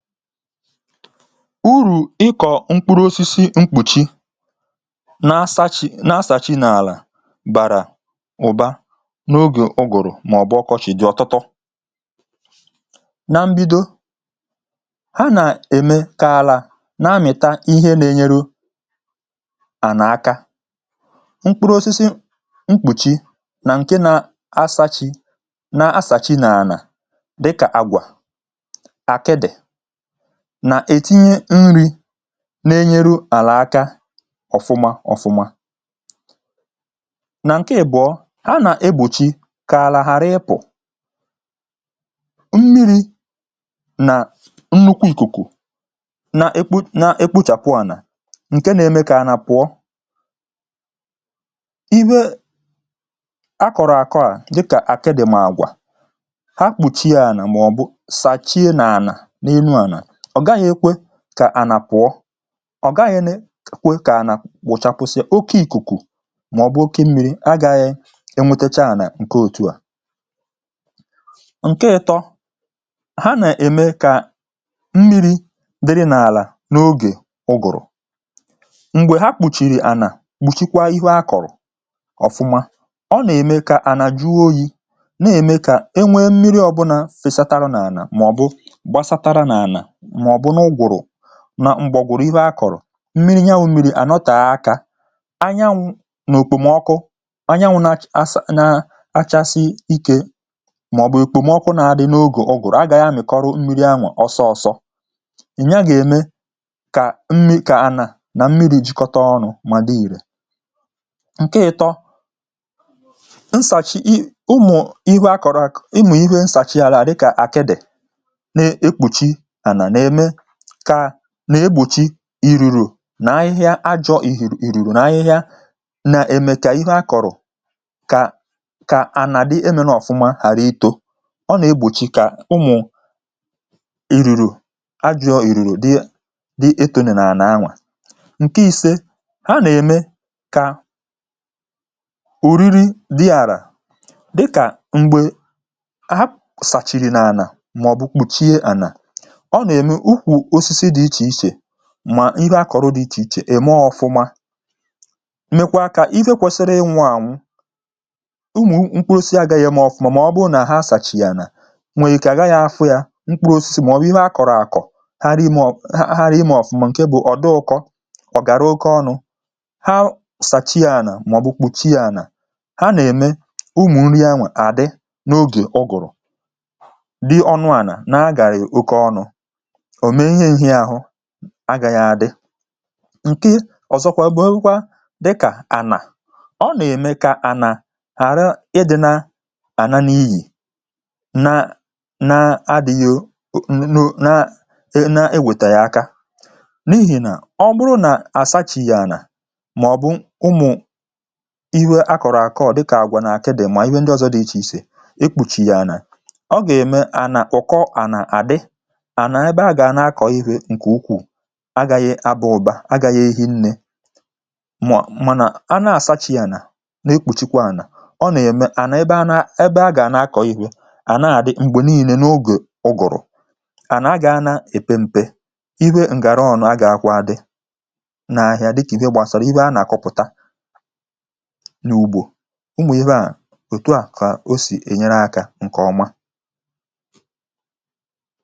uru̇ ịkọ̀ mkpụrụ osisi mkpùchi na asȧ chị̀ na asà chị n’àlà bàrà ụ̀ba n’ogè ụgụ̀rụ̀ mà ọ̀ bụ ọkọchị dị̇ ọ̀tụtọ na mbido ha nà-ème kààlà na-amị̀ta ihe n’-enyere ònàaka mkpụrụ osisi mkpùchi nà ǹke nà asȧ chị na asà chị n’anà dịkà àgwà àkịdị̀ nà-ètinye nri̇ na-enyere àlà aka ọ̀fụma ọ̀fụma nà ǹke ìbụ̀ọ ha nà-egbùchi kà àlà ghàra ịpụ̀ mmiri̇ nà nnukwu ìkùkù n’ekpu n’ekpu chàpụ ànà ǹke nȧ-ėmė kà a nà-pụ̀ọ ibe a kọ̀rọ̀ àkọ à dịkà àke dị̇ m àgwà ha kpùchie ànà màọ̀bụ̀ sàchie nà ànà n’elu ànà ọ̀ gaghị̇ ekwe kà ànà pụọ ọ̀ gaghị̇ nè kwe kà ànà pụ̀chàpụsị oke ìkùkù màọbụ̀ oke mmiri̇ agȧghị̇ enwetecha ànà ǹke òtù à ǹke ịtọ̇ ha nà-ème kà mmiri̇ dịrị n’àlà n’ogè ụgụ̀rụ̀ m̀gbè ha kpùchìrì ànà kpùchikwa ihu a kọ̀rọ̀ ọ̀fụma ọ nà-ème kà ànà jụọ oyi̇ nà-ème kà e nwee mmiri ọ̀bụnȧ fèsatara n’ànà màọbụ̀ gbasatara n’ànà m̀gbèọ̀gwụ̀rụ̀ ihe akọ̀rọ̀ mmiri nye wụ̀ mmiri à nọtà akȧ anyanwụ̇ nà òkpòmọkụ anyanwụ̇ nà achasị ike màọ̀bụ̀ èkpòmọkụ nà-àdị n’ogè ọgụ̀rụ̀ agà ya mị̀kọrọ̀ mmiri anwụ̇ ọsọọ̇ sọ̀ ị̀ nye gà-ème kà mmiri kà anà nà mmiri̇ jikọta ọnụ̇ mà dị ìrè ǹkẹ ịtọ nsàchì ị ụmụ̀ ihe akọ̀rọ̀ àkụ̀ ị mà ihe nsàchì àlà dịkà àkẹdẹ̀ na-egbòchi irùrù nà ahịhịa a jọ̀ ìrùrù na ahịhịa na-eme kà ihẹ a kọ̀rọ̀ kà kà nà dị emena ọ̀fụma hàra ịtọ̇ ọ nà-egbòchi kà ụmụ̀ irùrù a jọọ ìrùrù dị etònù nà ànà anwà nke ìse a nà-eme kà òriri dị ànà dịkà m̀gbè a sàchìrì nà anà mà ọ̀ bụ kpùchie ànà ukwù osisi dị ichè ichè mà ihe akọrọ dị ichè ichè ème ọ̀fụma mèkwa akȧ ife kwèsịrị ịwụ̇ ànwụ ụmụ̀ mkpụrụ si agȧghị̇ yam ànụ̀ ọ̀fụma mà ọ bụ nà ha sàchì yà nà nwèrè ike àga yȧ afụ yȧ mkpụrụ osisi mà ọ̀ bụ̀ ihe akọ̀rọ̀ àkọ̀ ha rị imȧ ọ̀fụma ǹke bụ̀ ọ̀ dị ụkọ ọ̀gàrà oke ọnụ̇ ha sàchì yà ànà mà ọ̀ bụ̀ kpùchaa yà nà ha nà ème ụmụ̀ nri yanwè àdị n’ogè ọgụ̀rụ̀ dị ọnụ̇ ànà na-agàrị̀ oke ọnụ̇ agà yà adị ǹke ọ̀zọkwa bụ̀ nwekwaa dịkà ànà ọ nà-ème kà ànà ghàra ịdị̇ nà àná n’ihì nà na adị̇ghị̇ o nò na e na ewètà yà aka n’ihì nà ọ bụrụ nà àsa chi yà ànà mà ọ̀ bụ̀ ụmụ̀ iwe a kọ̀rọ̀ àkọ ọ̀ dịkà àgwa nà àke dị̀ mà ihe ndị ọzọ dị̇ ichè ichè ekpùchì yà ànà ọ gà-ème ànà ụ̀kọ ànà àdị agȧyị̇ abụ̇ ụ̀ba agȧghi̇ ehi nnė mànà a na-àsachis yȧ nà na-ekpùchikwa ànà ọ nà-ème à nà ebe ana ebe a gà-àna akọ̇ ihė à na-àdị m̀gbè niilė n’ogè ụgụ̀rụ̀ à nà agȧghị̇ anȧ èpe m̀pe iwe ǹgàra ọnụ a gà-akwadị n’ahịa dịkà ihe gbasara ihe a nà-àkọpụ̀ta n’ugbȯ ụmụ̀ ihe a ètù a kà o sì enyere akȧ ǹkè ọma